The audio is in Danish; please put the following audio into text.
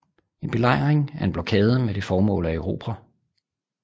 En belejring er en blokade med det formål at erobre